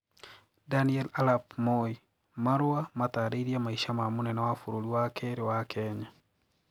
Daniel Arap Moi: Marũa matarĩĩrie maisha ma mũnene wa bũrũri wa kĩrĩ wa Kenya.